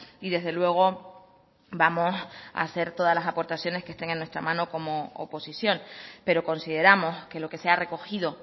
y desde luego vamos hacer todas las aportaciones que estén en nuestra mano como oposición pero consideramos que lo que se ha recogido